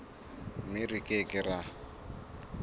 mme re ke ke ra